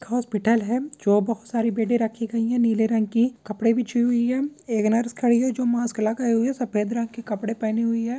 एक हॉस्पिटल है जो बहुत सरे बेडे रखे गई हैं नीले रंग की कपड़े बिछी हुई है एक नर्स खड़ी है जो मास्क लगा के आयी है सफ़ेद रंग के कपड़े पहने हुई है।